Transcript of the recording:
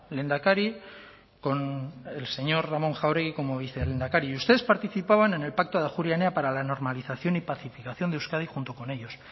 lehendakari con el señor ramón jáuregui como vicelehendakari y ustedes participaban en el pacto de ajuria enea para la normalización y pacificación de euskadi junto con ellos